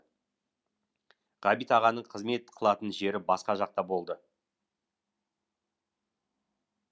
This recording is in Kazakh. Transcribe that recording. ғабит ағаның қызмет қылатын жері басқа жақта болды